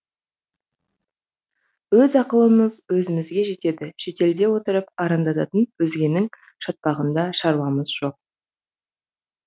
өз ақылымыз өзімізге жетеді шетелде отырып арандататын өзгенің шатпағында шаруамыз жоқ